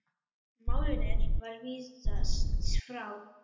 Málinu var vísað frá.